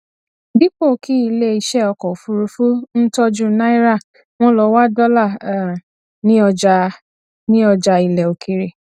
dípò kí ilé iṣẹ ọkọ òfuurufú ń tọjú náírà wọn lọ wá dọlà um ní ọjà ní ọjà ilẹ òkèèrè